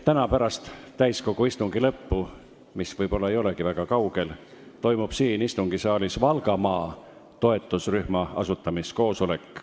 Täna pärast täiskogu istungi lõppu, mis võib-olla ei olegi väga kaugel, toimub siin istungisaalis Valgamaa toetusrühma asutamiskoosolek.